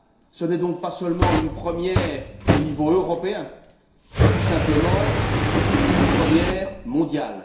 Ce n'est donc pas seulement une première au niveau européen, c'est tout simplement une première mondiale.